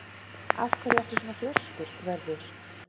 Af hverju ertu svona þrjóskur, Vörður?